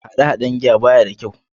Hade-Haden giya baya da kyau.